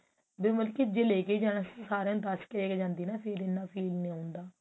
ਵੀ ਮਤਲਬ ਕਿ ਜੇ ਲੈਕੇ ਜਾਣਾ ਸੀ ਤਾਂ ਸਾਰਿਆਂ ਨੂੰ ਦੱਸ ਕਿ ਦੇਕੇ ਜਾਂਦੀ ਨਾ ਫ਼ੇਰ ਇੰਨਾ feel ਨੀ ਹੁੰਦਾ